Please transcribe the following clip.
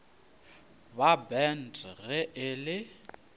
ba bant ge e le